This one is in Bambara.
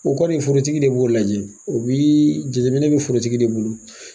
O kɔni forotigi de b'o lajɛ, o biii, jateminɛ bɛ forotigi de bolo.